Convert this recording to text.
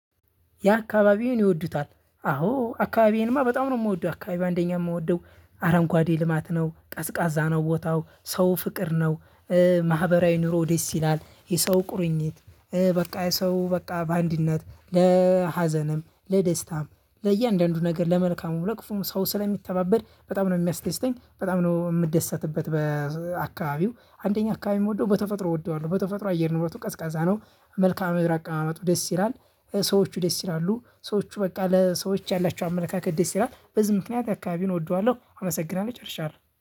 ያ አካባቢዬን ይወዱታል አዎ አካባቢዬንማ በጣም ነው የምወደው አካባቢ አንደኛ የምወደው አረንጓዴ ልማት ነው ቀዝቃዛ ነው ቦታው ሰው ፍቅር ነው። ማህበራዊ ኑሮ ደስ ይላል የሰው ቁርኝት በቃ የሰው በቃ በአንድነት ለሀዘንም ለደስታም ለእያንዳንዱ ነገር ለመልካሙ ለክፉም ሰው ስለሚተባበር በጣም ነው የሚያስደስተኝ በጣም ነው የምደሰትበት። በአካባቢው አንደኛ አካባቢ የምወደው በተፈጥሮ እወደዋለሁ በተፈጥሮ አየር ንብረቱ ቀዝቃዛ ነው። መልካአ ምደር አቀማመጡ ደስ ይላል። ሰዎቹ ደስ ይላሉ ሰዎቹ በቃ ለሰዎች ያላቸው አመለካከት ደስ ይላል በዚህ ምክንያት አካባቢውን እወደዋለሁ። አመሰግናለሁ ጨርሻለሁ